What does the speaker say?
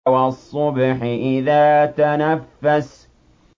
وَالصُّبْحِ إِذَا تَنَفَّسَ